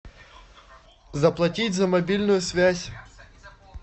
заплатить за мобильную связь